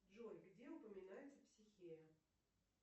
джой где упоминается психея